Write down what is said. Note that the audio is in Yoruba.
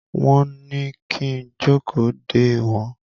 Wọ́n ní kí n jókòó dè wọ́n.